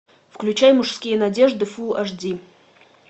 включай мужские надежды фул аш ди